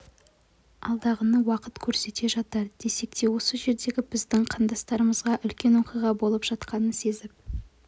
алдағыны уақыт көрсете жатар десек те осы жердегі біздің қандастарымызға үлкен оқиға болып жатқанын сезіп